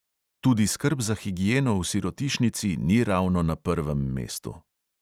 Tudi skrb za higieno v sirotišnici ni ravno na prvem mestu.